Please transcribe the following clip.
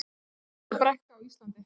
Stærsta brekka á Íslandi